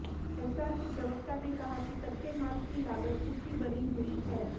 एस्सार के प्रवक्ता ने कहा कि कच्चे माल की लागत ऊंची बनी हुई है